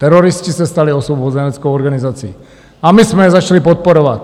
Teroristi se stali osvobozeneckou organizací a my jsme je začali podporovat.